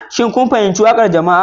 Shin kun fahimci waƙar jama'a